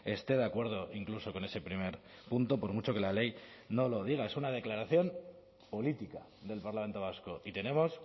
esté de acuerdo incluso con ese primer punto por mucho que la ley no lo diga es una declaración política del parlamento vasco y tenemos